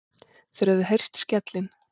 Þeir höfðu heyrt skellinn.